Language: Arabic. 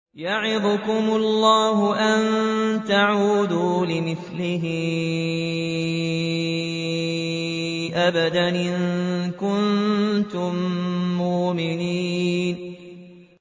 يَعِظُكُمُ اللَّهُ أَن تَعُودُوا لِمِثْلِهِ أَبَدًا إِن كُنتُم مُّؤْمِنِينَ